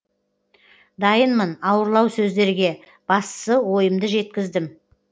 дайынмын ауырлау сөздерге бастысы ойымды жеткіздім